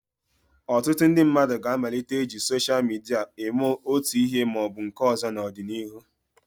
Ọtụtụ ndị mmadụ ga-amalite iji soshal midia eme otu ihe ma ọ bụ nke ọzọ n'ọdịnihu.